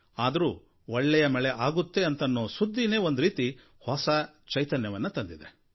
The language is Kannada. ಆದರೂ ಒಳ್ಳೆಯ ಮಳೆ ಆಗುತ್ತೆ ಅನ್ನೋ ಸುದ್ದಿನೇ ಒಂದು ರೀತಿಯ ಹೊಸ ಚೈತನ್ಯವನ್ನ ತಂದಿದೆ